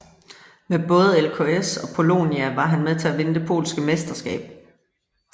Med både ŁKS og Polonia var han med til at vinde det polske mesterskab